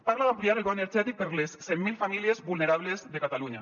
parla d’ampliar el bo energètic per a les cent mil famílies vulnerables de catalunya